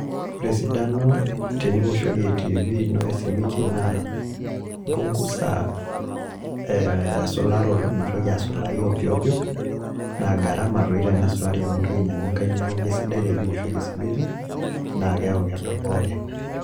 Ore esidano teniwoshokin TV ino esimiti naa imbungusa esularoto metoiki asulari ovyoovyo naa garama toi tensulari amu intoki ainyang'u enkae neaku esidai teniwoshokin esimiti ne keaku edol pooki ng'ae